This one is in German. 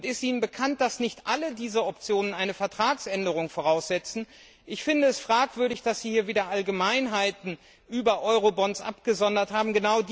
Und ist Ihnen bekannt, dass nicht alle diese Optionen eine Vertragsänderung voraussetzen? Ich finde es fragwürdig, dass Sie hier wieder Allgemeinheiten über Eurobonds abgesondert haben.